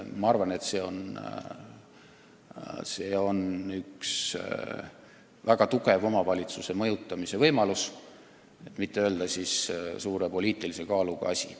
Ma arvan, et selline hindamine on üks väga hea omavalitsuste mõjutamise võimalus, et mitte öelda, et see on suure poliitilise kaaluga asi.